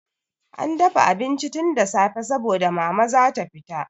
An dafa abinci tun da safe saboda Mama za ta fita.